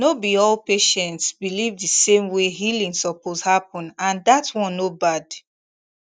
no be all patients believe the same way healing suppose happen and that one no bad